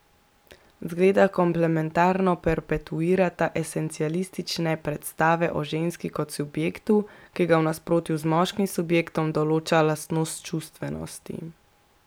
Zgleda komplementarno perpetuirata esencialistične predstave o ženski kot subjektu, ki ga v nasprotju z moškim subjektom določa lastnost čustvenosti.